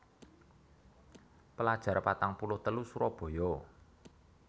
Pelajar patang puluh telu Surabaya